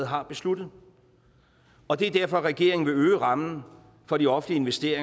har besluttet og det er derfor at regeringen vil øge rammen for de offentlige